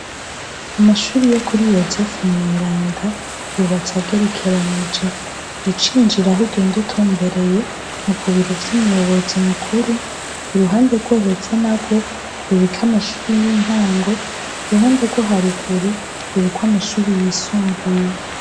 Amashure yo kuri Yozefu mwerenda, yubatse agerekeranije, winjiye aho ugenda utumbereye ni kubiro vy'umuyobozi mukuru, k'uruhande rwo hepfo narwo ruriko amashure y'intango, ruriko amashure yisumbuye.